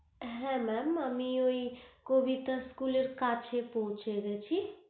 হে mam আমি ঐ কবিতা school এর কাছে পৌছে গিয়েছি